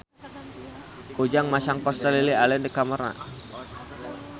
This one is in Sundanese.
Ujang masang poster Lily Allen di kamarna